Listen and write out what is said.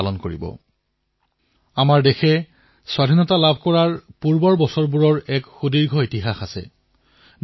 স্বতন্ত্ৰতাৰ পূৰ্বে অনেক বৰ্ষজুৰি আমাৰ দেশত স্বাধীনতাৰ যুঁজৰ এক দীঘলীয়া ইতিহাস বিদ্যমান আছে